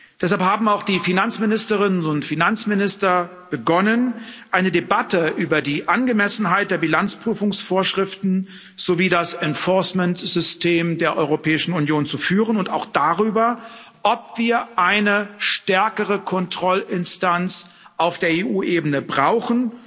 Deshalb haben auch die Finanzministerinnen und Finanzminister begonnen, eine Debatte über die Angemessenheit der Bilanzprüfungsvorschriften sowie das Enforcement System der Europäischen Union zu führen und auch darüber, ob wir eine stärkere Kontrollinstanz auf der EU Ebene brauchen,